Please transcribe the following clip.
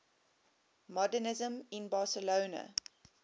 modernisme in barcelona